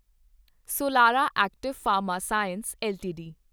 Solara active pharma science LTD